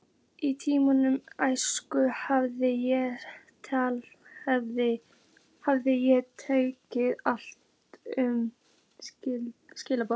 Í minni æsku hafði ég heyrt talað um svikalognið.